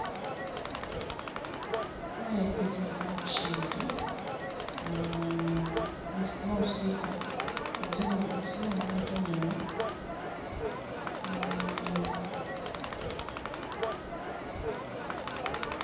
Ma endi en ochiel ma, ma osigo, osigo ma ng'ato ong'iewo, mmh.